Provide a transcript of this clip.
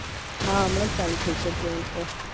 હા હમણાજ ચાલુ થય છે train તો